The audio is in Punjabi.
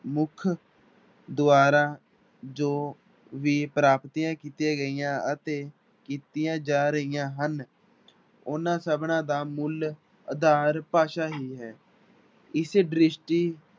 ਮੁੱਖ ਦੁਆਰਾ ਜੋ ਵੀ ਪ੍ਰਾਪਤੀਆਂ ਕੀਤੀਆਂ ਗਈਆਂ ਅਤੇ ਕੀਤੀਆਂ ਜਾ ਰਹੀਆਂ ਹਨ ਉਹਨਾਂ ਸਭਨਾਂ ਦਾ ਮੂਲ ਆਧਾਰ ਭਾਸ਼ਾ ਹੀ ਹੈ ਇਸੇ ਦ੍ਰਿਸ਼ਟੀ